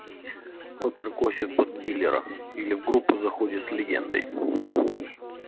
опер косит под дилера или в группу заходит с легендой